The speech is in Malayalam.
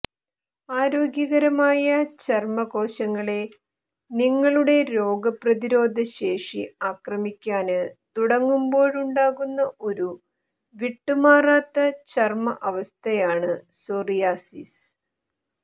ആരോഗ്യകരമായ ചര്മ്മ കോശങ്ങളെ നിങ്ങളുടെ രോഗപ്രതിരോധ ശേഷി ആക്രമിക്കാന് തുടങ്ങുമ്പോഴുണ്ടാകുന്ന ഒരു വിട്ടുമാറാത്ത ചര്മ്മ അവസ്ഥയാണ് സോറിയാസിസ്